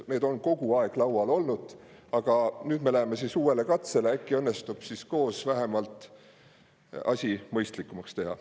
Need on kogu aeg laual olnud, aga nüüd me läheme uuele katsele, äkki õnnestub koos asi vähemalt mõistlikumaks teha.